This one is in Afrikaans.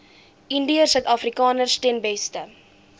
indiërsuidafrikaners ten beste